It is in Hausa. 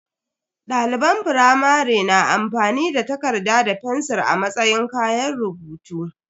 Daliban firamare na amfani da takarda da fensir a matsayin kayan rubutu.